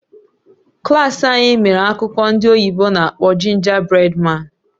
Klas anyị mere akụkọ ndị oyibo n'akpọ Gingerbread Man"